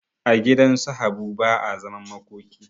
A gidansu habu ba a zaman makoki